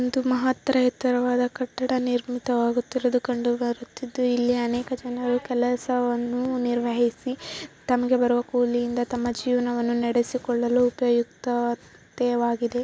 ಒಂದು ಮಹಾ ತ್ತರ ಎತ್ತರವಾದ ಕಟ್ಟಡ ನಿರ್ಮಿತವಾಗುತ್ತಿರುವುದು ಕಂಡು ಬರುತ್ತಿದ್ದು ಇಲ್ಲಿ ಅನೇಕ ಜನರು ಕೆಲಸವನ್ನು ನಿರ್ವಹಿಸಿ ತಮಗೆ ಬರುವಾ ಕೂಲಿಯಿಂದ ತಮ್ಮ ಜೀವನವನ್ನು ನಡೆಸಿಕೊಳ್ಳಲು ಉಪಯುಕ್ತವಾಗಿದೆ.